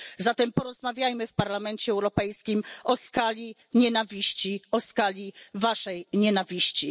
Zatem porozmawiajmy w Parlamencie Europejskim o skali nienawiści, o skali Waszej nienawiści.